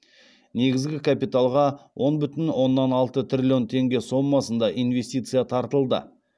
негізгі капиталға он бүтін оннан алты триллион теңге соммасында инвестиция тартылды